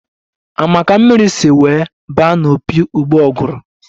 A ma ka mmiri si wee ba n'opi ụgbọguru?